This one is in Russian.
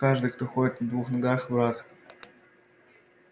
каждый кто ходит на двух ногах враг